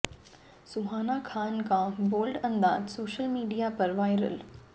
सुहाना खान का बोल्ड अंदाज social media पर वायरल